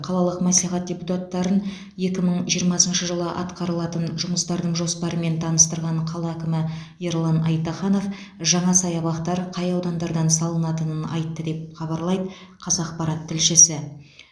қалалық мәслихат депутаттарын екі мың жиырмасыншы жылы атқарылатын жұмыстардың жоспарымен таныстырған қала әкімі ерлан айтаханов жаңа саябақтар қай аудандардан салынатынын айтты деп хабарлайды қазақпарат тілшісі